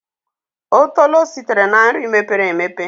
Otolo sitere na nri mepere emepe.